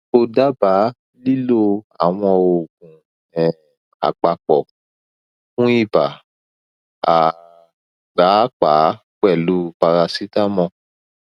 ko daba lilo awọn oogun um apapọ fun iba um paapaa pẹlu paracetamol